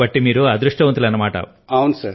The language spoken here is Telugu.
అంటే మీరు అదృష్టవంతులన్నమాట